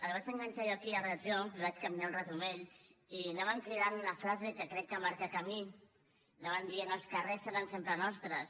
els vaig enganxar jo aquí a l’arc del triomf i vaig caminar una estona amb ells i anaven cridant una frase que crec que marca camí anaven dient els carrers seran sempre nostres